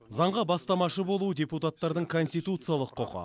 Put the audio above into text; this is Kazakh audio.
заңға бастамашы болу депуттардың конституциялық құқы